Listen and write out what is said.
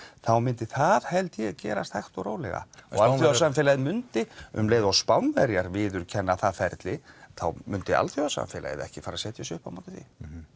þá myndi það held ég gerast hægt og rólega og alþjóðasamfélagið myndi um leið og Spánverjar viðurkenna það ferli þá myndi alþjóðasamfélagið ekki fara að setja sig upp á móti því